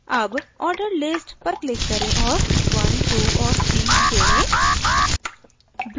add ordered list पर click करें और one two और three जोडें